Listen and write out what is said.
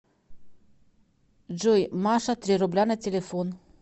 джой маша три рубля на телефон